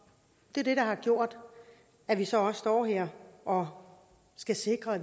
er det der har gjort at vi så også står her og skal sikre at